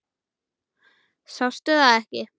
Sástu það ekki?